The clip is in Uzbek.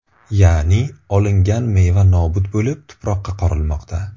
Ya’ni, olingan meva nobud bo‘lib, tuproqqa qorilmoqda.